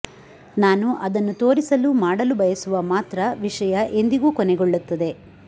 ನಾನು ಅದನ್ನು ತೋರಿಸಲು ಮಾಡಲು ಬಯಸುವ ಮಾತ್ರ ವಿಷಯ ಎಂದಿಗೂ ಕೊನೆಗೊಳ್ಳುತ್ತದೆ